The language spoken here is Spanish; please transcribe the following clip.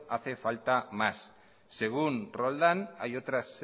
hace falta más según roldan hay otras